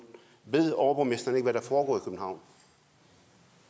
ved overborgmesteren ikke hvad der foregår